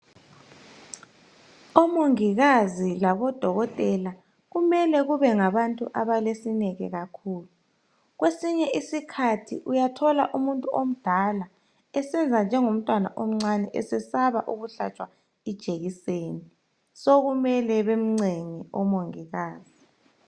Omongikazi labodokotela kumele kube ngabantu abalesineke kakhulu. Kwesinye isikhathi uyathola umuntu omdala esenza njengomntwana omncane esesaba ukuhlatshwa ijekiseni, sokumele bemncenge omongikazi.